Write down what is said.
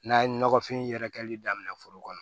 N'a ye nɔgɔfin yɛrɛkɛli daminɛ foro kɔnɔ